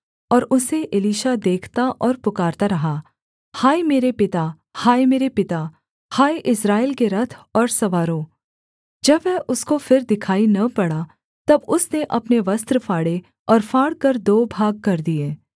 और उसे एलीशा देखता और पुकारता रहा हाय मेरे पिता हाय मेरे पिता हाय इस्राएल के रथ और सवारों जब वह उसको फिर दिखाई न पड़ा तब उसने अपने वस्त्र फाड़े और फाड़कर दो भागकर दिए